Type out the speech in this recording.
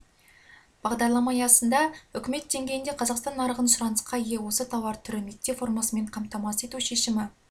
бағдарлама аясында үкімет деңгейінде қазақстан нарығын сұранысқа ие осы тауар түрі мектеп формасымен қамтамасыз ету шешімі